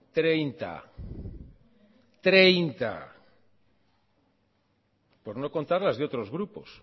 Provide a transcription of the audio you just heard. treinta por no contar las de otros grupos